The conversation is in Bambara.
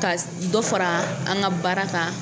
Ka dɔ fara an ka baara kan.